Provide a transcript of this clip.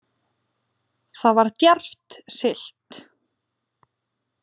Þar var djarft siglt